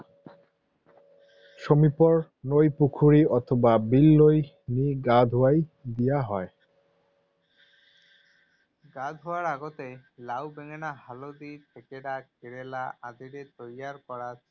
সমীপৰ নৈ, পুখুৰী অথবা বিললৈ নি গা ধুৱাই দিয়া হয়। গা ধুওৱাৰ আগতে লাও, বেঙেনা, হালধি, থেকেৰা, কেৰেলা আদিৰে তৈয়াৰ কৰা